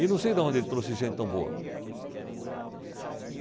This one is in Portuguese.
E não sei de onde ele trouxe gente tão boa.